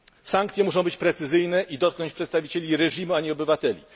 Sankcje muszą być precyzyjne i dotknąć przedstawicieli reżimu, a nie obywateli.